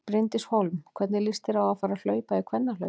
Bryndís Hólm: Hvernig líst þér á að fara að hlaupa í kvennahlaupinu?